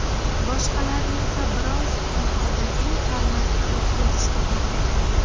Boshqalarini esa biroz noodatiy formatda o‘tkazishga to‘g‘ri keldi.